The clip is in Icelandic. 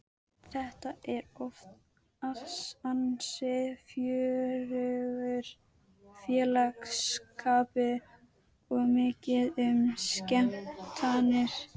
Þetta er oft ansi fjörugur félagsskapur og mikið um skemmtanir.